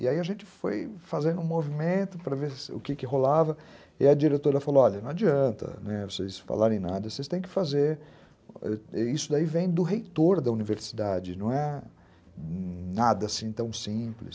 E aí a gente foi fazendo um movimento para ver o que que rolava, e a diretora falou, olha, não adianta vocês falarem nada, vocês têm que fazer, isso daí vem do reitor da universidade, não é nada assim tão simples.